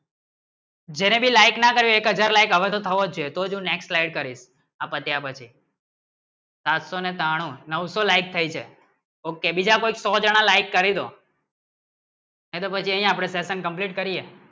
જેને ભી like ના કેરી એક હાજર like હવે છે તને next like કરી સાત સો ના બ સો નો સો like થાય છે okay બીજા કોઈ સો જના like કરી દો એ તો અપને session complete કરીયે